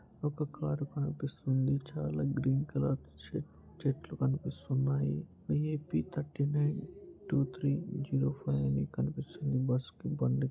ఒక కారు కనిపిస్తుంది చాలా గ్రీన్ కలర్ చె చెట్లు కనిపిస్తున్నాయి AP. Thirty nine two three zero five అని కనిపిస్తుంది బస్సుకి బండి.